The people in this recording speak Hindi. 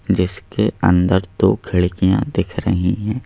जिसके अंदर दो खिड़कियां दिख रही हैं।